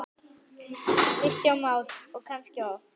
Kristján Már: Og kannski oft?